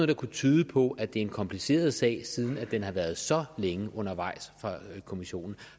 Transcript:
der kunne tyde på at det er en kompliceret sag siden den har været så længe undervejs fra kommissionen